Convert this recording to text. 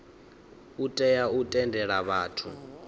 u tea u tendela vhathu